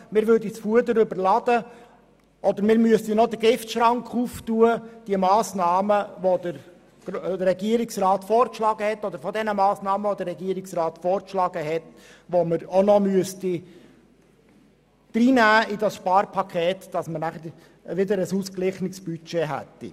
Wir würden das Fuder überladen oder müssten den Giftschrank öffnen und noch weitere vom Regierungsrat vorgeschlagene Massnahmen in dieses Sparpaket hineinnehmen, damit wir nachher wieder ein ausgeglichenes Budget haben.